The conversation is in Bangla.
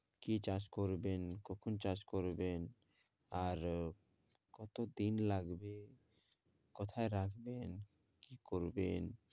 কি চাষ করবেন? কখন চাষ করবেন? আর কত দিন লাগবে? কোথায় রাখবেন? কি করবেন?